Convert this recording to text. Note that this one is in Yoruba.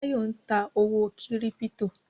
Báyọ̀ ń ta owó kírípítò